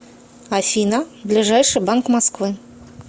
афина ближайший банк москвы